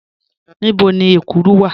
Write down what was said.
Níbò̀ ni èkúrù wà?